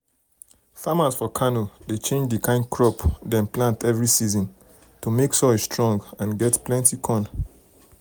farmers for kano dey change the kind crop dem plant every season to make soil strong and get plenty corn.